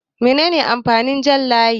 Mene ne amfanin abin jan layi?